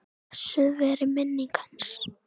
Blessuð veri minning hans.